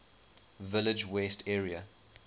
village west area